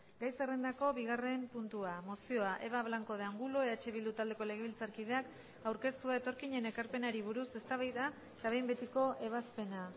gai zerrendako bigarren puntua mozioa eva blanco de angulo eh bildu taldeko legebiltzarkideak aurkeztua etorkinen ekarpenari buruz eztabaida eta behin betiko ebazpena